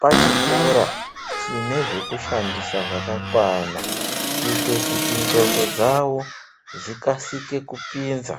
pachikora chine zvekushandisa zvakakwana kuita kuti ndxondo dzavo dzikasike kupinza.